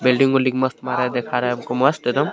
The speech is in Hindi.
वेल्डिंग बेल्डिंग मस्त देखा रहा है हमको मस्त एकदम.